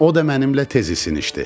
O da mənimlə tez isinişdi.